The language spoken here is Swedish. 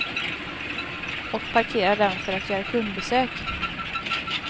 Och parkerar den för att göra kundbesök.